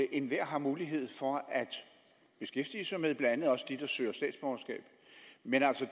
enhver har mulighed for at beskæftige sig med blandt andet også dem der søger statsborgerskab men